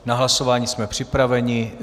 Na hlasování jsme připraveni.